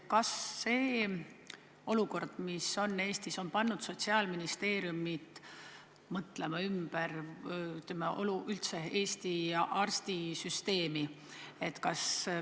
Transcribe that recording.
Kas see olukord on pannud Sotsiaalministeeriumi mõtlema ümber Eesti arstisüsteemi suhtes?